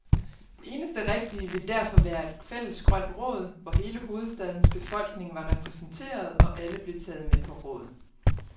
Det eneste rigtige ville derfor være et fælles grønt råd, hvor hele hovedstadens befolkning var repræsenteret, og alle blev taget med på råd.